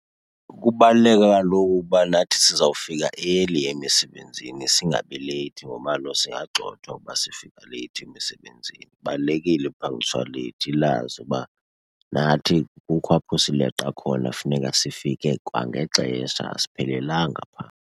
Kubaluleka kaloku uba nathi sizawufika early emisebenzini singabi leyithi ngoba kaloku singagxothwa uba sifika leyithi emisebenzini. Ibalulekile i-punctuality, ilazi uba nathi kukho apho sileqa khona, funeka sifike kwangexesha asiphelelanga phaa.